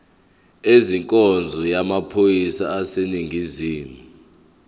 ezenkonzo yamaphoyisa aseningizimu